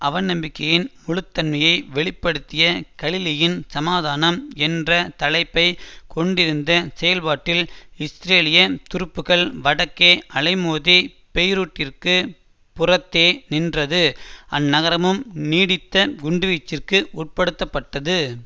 அவநம்பிக்கையின் முழுத்தன்மையை வெளி படுத்திய கலிலீயின் சமாதனாம் என்ற தலைப்பை கொண்டிருந்த செயற்பாட்டில் இஸ்ரேலிய துருப்புக்கள் வடக்கே அலைமோதி பெய்ரூட்டிற்கு புறத்தே நின்றது அந்நகரமும் நீடித்த குண்டுவீச்சிற்கு உட்படுத்தப்பட்டது